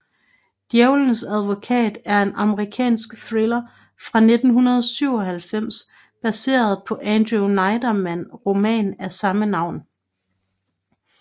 Djævelens advokat er en amerikansk thriller fra 1997 baseret på Andrew Neiderman roman af samme navn